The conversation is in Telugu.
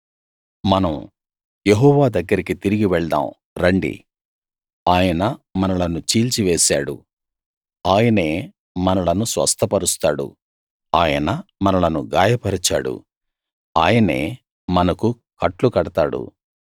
మనం యెహోవా దగ్గరికి తిరిగి వెళ్దాం రండి ఆయన మనలను చీల్చివేశాడు ఆయనే మనలను స్వస్థపరుస్తాడు ఆయన మనలను గాయపరిచాడు ఆయనే మనకు కట్లు కడతాడు